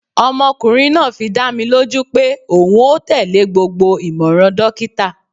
Ọmọkunrin naa fi dá mi loju pe oun o tele gbogbo imọran dokita